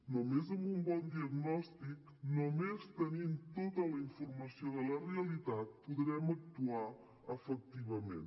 només amb un bon diagnòstic només tenint tota la informació de la realitat podrem actuar efectivament